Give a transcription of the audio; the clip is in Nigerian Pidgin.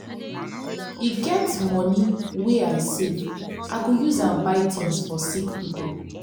e get moni wey i save i go use am buy tins for sick pipo.